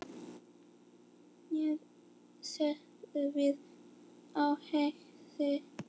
Ég læðist með hádegis